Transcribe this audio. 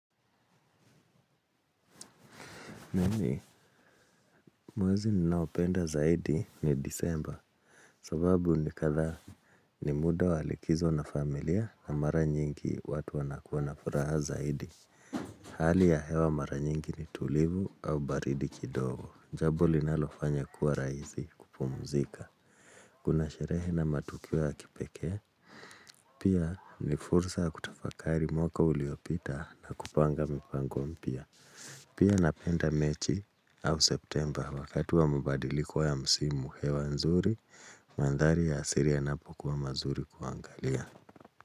Nini, mwazi ninaopenda zaidi ni Disemba. Sababu ni katha ni muda wa likizo na familia na mara nyingi, watu wanakua na furaha zaidi. Hali ya hewa mara nyingi ni tulivu, au baridi kidogo. Jabo linalofanya kuwa rahisi, kupumuzika. Kuna sherehe na matukio ya kipekee, pia, ni fursa ya kutafakari mwaka uliopita na kupanga mipango mpya. Pia napenda mechi, au September wakati wa mubadiliko ya msimu. Hewa nzuri, mandhari ya asiria yanapokwa mazuri kuangalia.